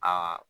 Aa